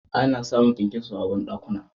Ana samu kyankyaso a banɗakuna.